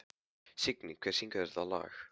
Signý, hver syngur þetta lag?